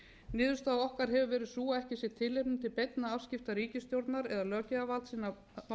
niðurstaða okkar hefur verið sú að ekki sé tilefni til beinna afskipta ríkisstjórnar eða löggjafarvaldsins að